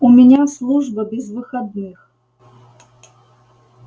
у меня служба без выходных